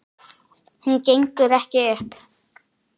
Hún gengur ekki upp.